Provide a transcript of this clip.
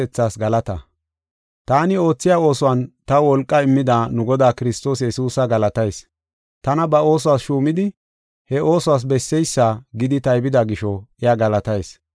Taani oothiya oosuwan taw wolqaa immida nu Godaa Kiristoos Yesuusa galatayis. Tana ba oosuwas shuumidi he oosuwas besseysa gidi taybida gisho iya galatayis.